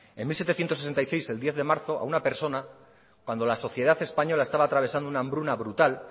en mil setecientos setenta y seis el diez de marzo a una persona cuando la sociedad española estaba atravesando una hambruna brutal